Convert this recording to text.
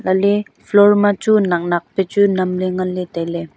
lah ley floor ma chu nak nak pe chu nam ley ngan ley tailey.